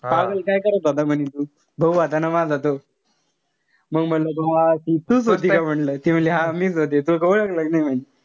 पागल काय करत होता म्हणे तू. भाऊ होता ना माझा तो. मंग म्हणलं हा ती तूच होती का म्हणलं. ती म्हणली हा मीच होती तू ओळखलं कि नाई म्हणे.